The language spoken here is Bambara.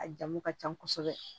A jamu ka ca kosɛbɛ